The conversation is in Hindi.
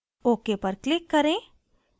ok पर click करें